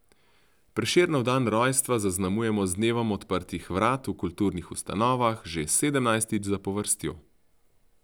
Prešernov dan rojstva zaznamujemo z dnevom odprtih vrat v kulturnih ustanovah že sedemnajstič zapovrstjo.